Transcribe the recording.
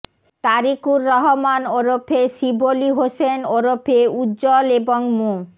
তারিকুর রহমান ওরফে শিবলী হোসেন ওরফে উজ্জল এবং মো